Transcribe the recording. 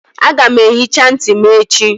Aga m ehicha ntị m echi